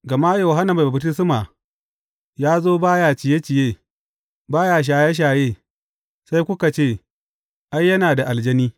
Gama Yohanna Mai Baftisma ya zo ba ya ciye ciye, ba ya shaye shaye, sai suka ce, Ai, yana da aljani.’